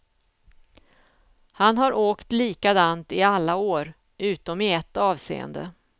Han har åkt likadant i alla år, utom i ett avseende.